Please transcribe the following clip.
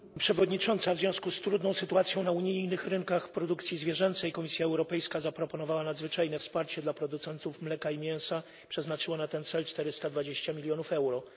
Pani Przewodnicząca! W związku z trudną sytuacją na unijnych rynkach produkcji zwierzęcej Komisja Europejska zaproponowała nadzwyczajne wsparcie dla producentów mleka i mięsa i przeznaczyło na ten cel 420 milionów euro.